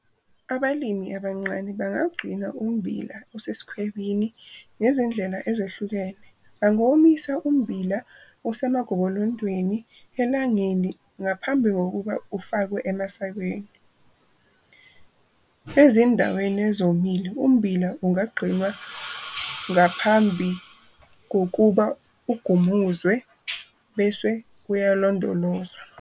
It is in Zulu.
Abalimi abancane bangagcina ummbila osesikhwebini ngezindlela ezehlukene bangawomisa ummbila osemagobolondweni elangeni ngaphambi kokuba ufakwe emasakeni. Ezindaweni ezomile ummbila ungagcinwa ngaphambi kokuba ugumuzwe bese uyalondolozwa.